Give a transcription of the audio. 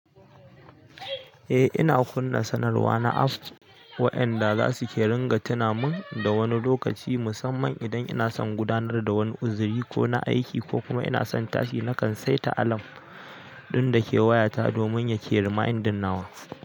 Eh, ina kunna sanarwa na apps wa'anda za su ke ringa tuna min da wani lokaci musamman. Idan ina son gudanar da wani uziri ko na aiki ko kuma ina son tashi, nakan saita alarm ɗin da ke wayata domin ya ke yi reminding nawa.